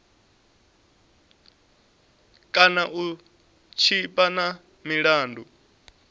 kana u tshipa na milandu